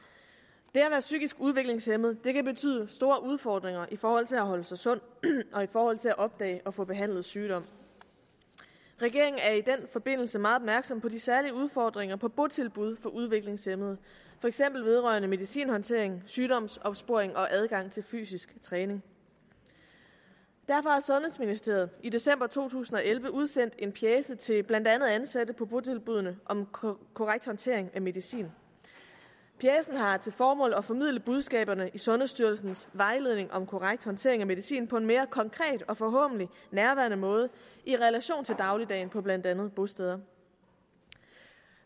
det at være psykisk udviklingshæmmet kan betyde store udfordringer i forhold til at holde sig sund og i forhold til at opdage og få behandlet sygdom regeringen er i den forbindelse meget opmærksom på de særlige udfordringer på botilbud for udviklingshæmmede for eksempel vedrørende medicinhåndtering sygdomsopsporing og adgang til fysisk træning derfor har sundhedsministeriet i december to tusind og elleve udsendt en pjece til blandt andet ansatte på botilbudene om korrekt håndtering af medicin pjecen har til formål at formidle budskaberne i sundhedsstyrelsens vejledning om korrekt håndtering af medicin på en mere konkret og forhåbentlig nærværende måde i relation til dagligdagen på blandt andet bosteder